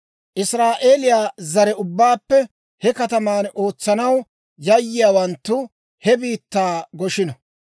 Israa'eeliyaa zare ubbaappe he kataman ootsanaw yiyaawanttu he biittaa goshino.